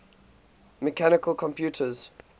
mechanical computers